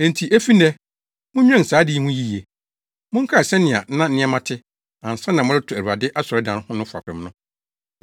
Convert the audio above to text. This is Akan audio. “ ‘Enti efi nnɛ, munnwen saa ade yi ho yiye. Monkae sɛnea na nneɛma te, ansa na moreto Awurade asɔredan no fapem no.